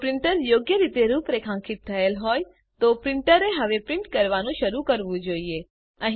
જો પ્રિન્ટર યોગ્ય રીતે રૂપરેખાંકિત થયેલ હોય તો પ્રિન્ટરે હવે પ્રિન્ટ કરવાનું શરૂ કરવું જોઈએ